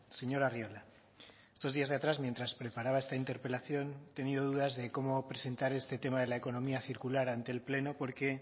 señor arriola estos días de atrás mientras preparaba esta interpelación he tenido dudas de como presentar este tema de la economía circular ante el pleno porque